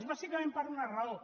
bàsicament per una raó